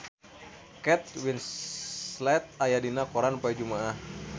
Kate Winslet aya dina koran poe Jumaah